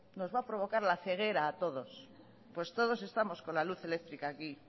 nos va a provocar la ceguera a todos pues todos estamos con la luz eléctrica aquí